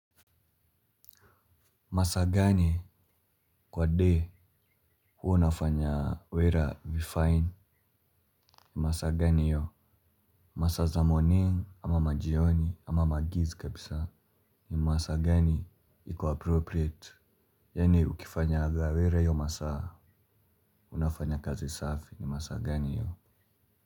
Masaa gani kwa day huwa unafanya wera vifine ni masaa gani hiyo? Masaa za morning ama majioni ama magiz kabisa ni masaa gani ikappropriate? Yaani ukifanya aga wera hiyo masaa unafanya kazi safi ni masaa gani yu?